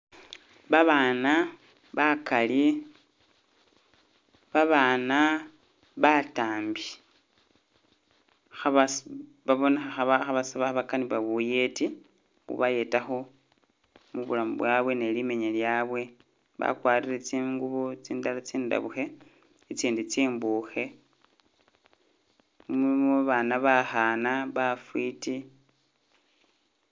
Ba bana bakali, ba bana batambi, kha bas-babonekha kha bas-bakanibwa buyeti bu bayetakho mubulamu bwabwe ne limenya lyabwe, ba kwarire tsingubo tsindala tsindabukhe itsindi tsimbukhe, mulimo babana bakhana bafiti